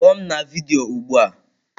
Kpọọ m na vidiyo ugbu a!